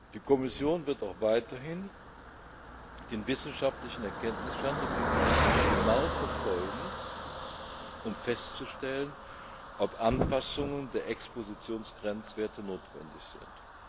Die Kommission wird auch weiterhin den wissenschaftlichen Erkenntnisstand auf diesem Gebiet genau verfolgen um festzustellen, ob Anpassungen der Expositionsgrenzwerte notwendig sind.